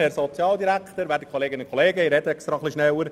Ich spreche auch extra etwas schneller.